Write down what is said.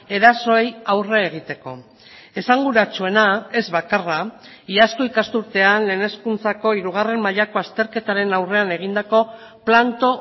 erasoei aurre egiteko esanguratsuena ez bakarra iazko ikasturtean lehen hezkuntzako hirugarren mailako azterketaren aurrean egindako planto